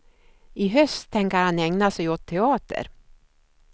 I höst tänker han ägna sig åt teater.